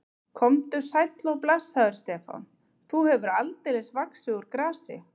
Komdu sæll og blessaður, Stefán, þú hefur aldeilis vaxið úr grasi.